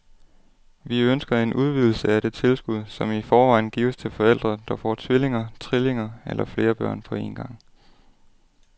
Vi ønsker en udvidelse af det tilskud, som i forvejen gives til forældre, der får tvillinger, trillinger eller flere børn på en gang.